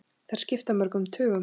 Þær skipta mörgum tugum!